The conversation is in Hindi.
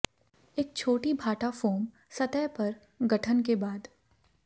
एक छोटी भाटा फोम सतह पर गठन के बाद